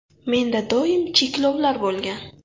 Menda doim cheklovlar bo‘lgan.